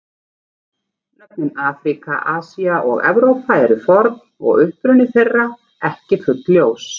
Nöfnin Afríka, Asía og Evrópa eru forn og uppruni þeirra ekki fullljós.